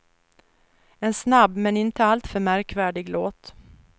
En snabb men inte alltför märkvärdig låt.